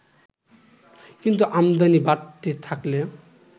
কিন্তু আমদানি বাড়তে থাকলে